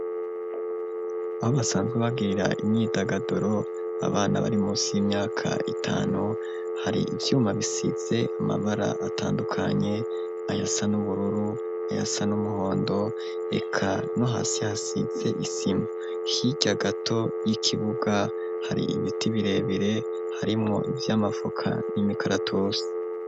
Aho basanzwe bagirira imyidagaduro, abana bari munsi y'imyaka itanu, hari ivyuma bisize amabara atandukanye: ayasa n'ubururu, ayasa n'umuhondo eka no hasi hasize isima. Hirya gato y'ikibuga , har'ibiti birebire harimwo ivy'amavoka n'imikaratusi.